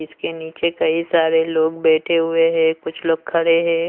इसके नीचे कई सारे लोग बैठे हुए हैं कुछ लोग खड़े हैं।